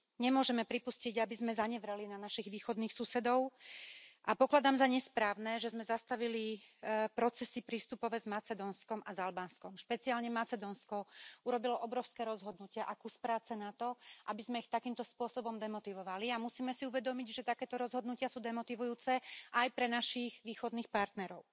Nemôžeme pripustiť, aby sme zanevreli na našich východných susedov, a pokladám za nesprávne, že sme zastavili procesy prístupové s Macedónskom a s Albánskom. Špeciálne Macedónsko urobilo obrovské rozhodnutia a kus práce na to, aby sme ich takýmto spôsobom demotivovali, a musíme si uvedomiť, že takéto rozhodnutia sú demotivujúce aj pre našich východných partnerov.